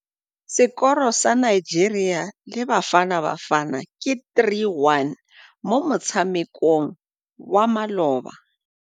Sekôrô sa Nigeria le Bafanabafana ke 3-1 mo motshamekong wa malôba.